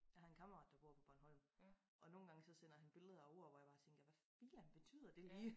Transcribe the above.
Jeg har en kammerat der bor på Bornholm og nogen gange så sender han billeder af ord hvor jeg bare tænker hvad filan betyder det lige